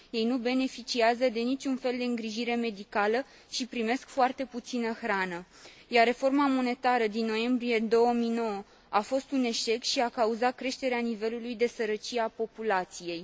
Ei nu beneficiază de niciun fel de îngrijire medicală și primesc foarte puțină hrană, iar reforma monetară din noiembrie 2009 a fost un eșec și a cauzat creșterea nivelului de sărăcie a populației.